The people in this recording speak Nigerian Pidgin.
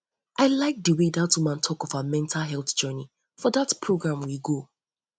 i like the way dat woman talk of her mental health journey for dat program we go